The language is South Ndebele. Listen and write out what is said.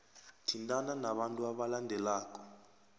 thintana nabantu abalandelako